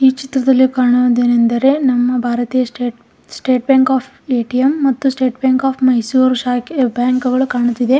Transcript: ಈ ಚಿತ್ರದ್ಲಲಿ ಕಾಣುವುದು ಏನೆಂದರೆ ನಮ್ಮ ಭಾರತೀಯ state state bank of ATM ಮತ್ತು ಸ್ಟೇಟ್ ಬ್ಯಾಂಕ್ ಆಫ್ ಮೈಸೂರ್ ಶಾಕೆ ಮತ್ತು ಬ್ಯಾಂಕ್‌ಗಳು ಕಾಣುತ್ತಿದೆ.